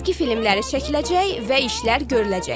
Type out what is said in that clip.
Cizgi filmləri çəkiləcək və işlər görüləcək.